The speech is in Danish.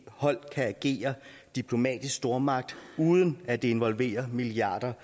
hold kan agere diplomatisk stormagt uden at det involverer milliarder